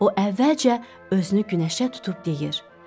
O əvvəlcə özünü günəşə tutub deyir: